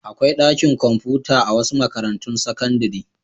Akwai ɗakin kwamfuta a wasu makarantun sakandare.